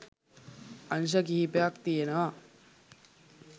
අංශ කිහිපයක් තියෙනවා..